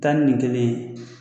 Tani nin kelen ye